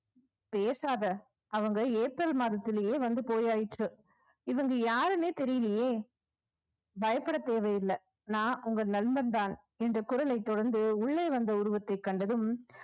பேசாத அவங்க ஏப்ரல் மாதத்திலேயே வந்து போய்யாயிற்று இவங்க யாருன்னே தெரியலயே பயப்பட தேவையில்ல நான் உங்கள் நண்பன் தான் இந்த குரலைத் தொடர்ந்து உள்ளே வந்த உருவத்தைக் கண்டதும்